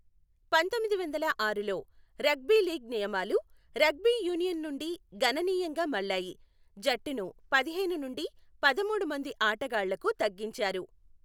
పంతొమ్మిది వందల ఆరులో రగ్బీ లీగ్ నియమాలు రగ్బీ యూనియన్ నుండి గణనీయంగా మళ్ళాయి, జట్టును పదిహేను నుండి పదమూడు మంది ఆటగాళ్లకు తగ్గించారు.